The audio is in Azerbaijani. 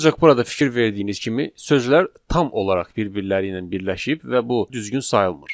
Ancaq burada fikir verdiyiniz kimi, sözlər tam olaraq bir-birləri ilə birləşib və bu düzgün sayılmır.